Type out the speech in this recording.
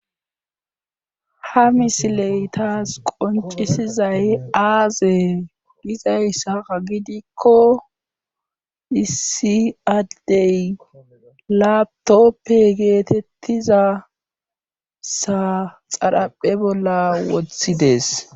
ha misiley taas qoncisizay aaze gizayssaa gidikko isi adey latoppe geetettiza sa xadhaphe bolla wothides